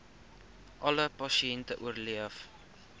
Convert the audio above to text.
alle pasiënte oorleef